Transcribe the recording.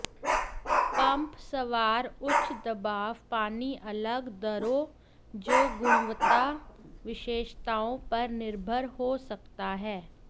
pump सवार उच्च दबाव पानी अलग दरों जो गुणवत्ता विशेषताओं पर निर्भर हो सकता है